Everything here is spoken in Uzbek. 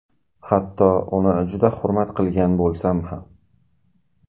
Hatto uni juda hurmat qilgan bo‘lsam ham”.